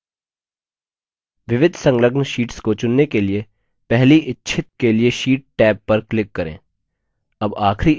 विविध संलग्न शीट्स को चुनने के लिए पहली इच्छित के लिए sheets टैब पर click करें